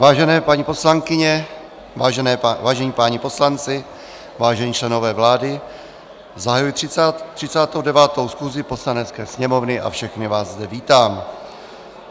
Vážené paní poslankyně, vážení páni poslanci, vážení členové vlády, zahajuji 39. schůzi Poslanecké sněmovny a všechny vás zde vítám.